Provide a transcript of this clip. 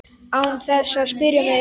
Án þess að spyrja mig?